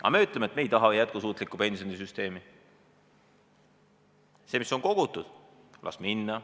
Aga me ütleme, et me ei taha jätkusuutlikku pensionisüsteemi, see, mis on kogutud, las minna.